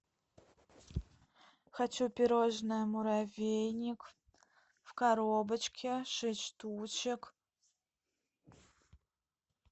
хочу пирожное муравейник в коробочке шесть штучек